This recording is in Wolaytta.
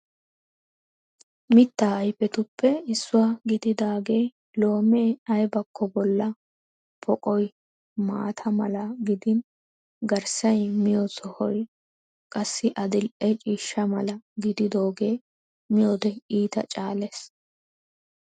Mitta ayifettuppe issuwa gididaagee loomee aybakko bolla poqoy maata mala gidin garssa miyo sohoy qassi adil'e ciishsha mala gididooggee miyode iita caalees.